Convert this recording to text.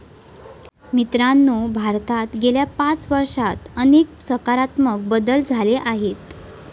मित्रांनो, भारतात गेल्या पाच वर्षात अनेक सकारात्मक बदल झाले आहेत.